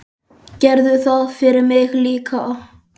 Gerðu það fyrir mig líka.